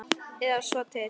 Eða svo til.